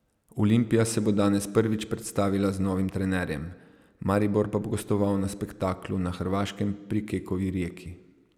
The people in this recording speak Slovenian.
Olimpija se bo danes prvič predstavila z novim trenerjem, Maribor pa bo gostoval na spektaklu na Hrvaškem pri Kekovi Rijeki.